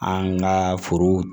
An ka foro